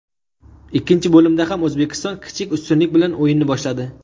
Ikkinchi bo‘limda ham O‘zbekiston kichik ustunlik bilan o‘yinni boshladi.